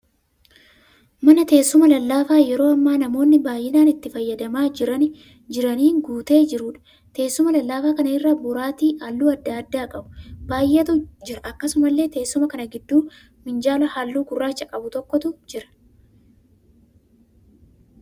Mana teessuma lallaafaa yeroo hammaa namoonni baay'inaan itti fayyadamaa jiraniin guutee jiruudha. Teessuma lallaafaa kana irra boraatii halluu adda addaa qabu baay'eetu jira. Akkasumallee teessuma kana gidduu minjaala halluu gurraacha qabu tokko jira.